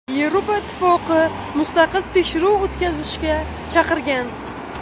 Yevropa Ittifoqi mustaqil tekshiruv o‘tkazishga chaqirgan.